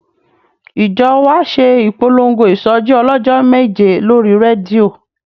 Ìjọ wa ṣe ìpolongo ìsọjí ọlọ́jọ́ méje lórí rédíò